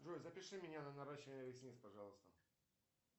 джой запиши меня на наращивание ресниц пожалуйста